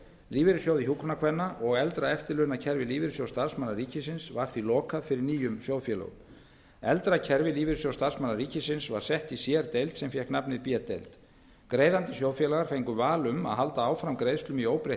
lífeyrissjóði hjúkrunarkvenna og eldra eftirlaunakerfi lífeyrissjóðs starfsmanna ríkisins var því lokað fyrir nýjum sjóðfélögum eldra kerfi lífeyrissjóðs starfsmanna ríkisins var sett í sér deild sem fékk nafnið b deild greiðandi sjóðfélagar fengu val um að halda áfram greiðslum í óbreytt